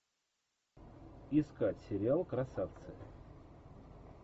искать сериал красавцы